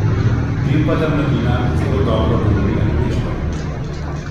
Vem pa, da mladina zelo dobro govori angleško.